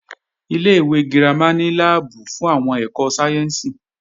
Ilé-ìwé girama ní láàbù fún àwọn ẹ̀kọ́ sáyẹ́ǹsì